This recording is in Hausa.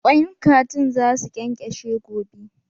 Kwain kajin za su ƙenƙeshe gobe.